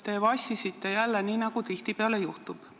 Te vassisite jälle, nii nagu tihtipeale juhtub.